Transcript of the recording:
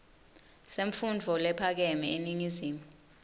semfundvo lephakeme eningizimu